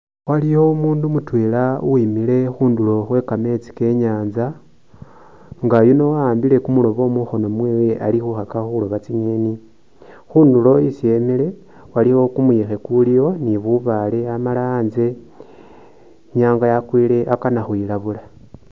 Waliyo umundu mutwela uwimile khunduro khwekametsi ke’inyasta nga yuno awambile kumurobo mungono mwewe ali khukhakakho khuroba tsi nyeni khunduro khwesi imile aliwo kumuyekhe kuliwo nibubale amala antse inyanga yakwile akana ukhwilabula